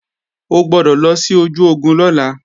O gbọ́dọ̀ lọ sí ojú ogun lọ́la